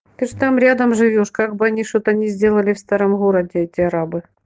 ты же там рядом живёшь как бы они что-то не сделали в старом городе те арабы